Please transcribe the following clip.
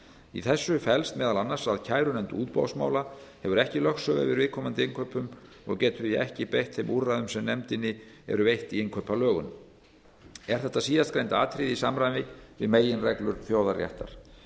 í þessu felst meðal annars að kærunefnd útboðsmála hefur ekki lögsögu yfir viðkomandi innkaupum og getur því ekki beitt þeim úrræðum sem nefndinni eru veitt í innkaupalögunum er þetta síðastgreinda atriði í samræmi við meginreglur þjóðaréttar